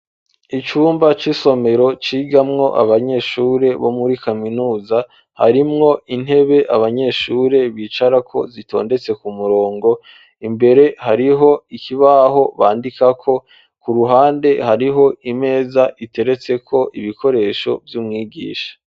Icumba c'isomero, cigamwo abanyeshure bo muri kaminuza, harimwo intebe abanyeshure bicarako, zitondetse ku murongo; imbere hariho ikibaho bandikako, ku ruhande hariho imeza, iteretseko ibikoresho vy'umwigisha.